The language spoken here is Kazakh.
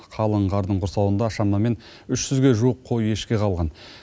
қалың қардың құрсауында шамамен үш жүзге жуық қой ешкі қалған